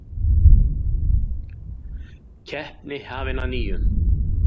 Keppni hafin að nýju